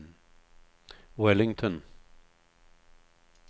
Wellington